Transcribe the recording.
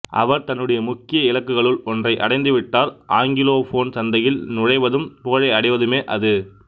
அவர் தன்னுடைய முக்கிய இலக்குகளுள் ஒன்றை அடைந்துவிட்டார் ஆங்கிலோபோன் சந்தையில் நுழைவதும் புகழை அடைவதுமே அது